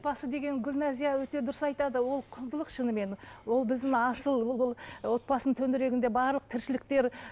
отбасы деген гүлназия өте дұрыс айтады ол құндылық шынымен ол біздің асыл ол ы отбасының төңірегінде барлық тіршіліктер